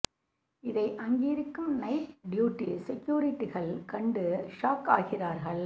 இதை அங்கிருக்கும் night duty செக்யூரிட்டிகள் கண்டு ஷாக் ஆகிறார்கள்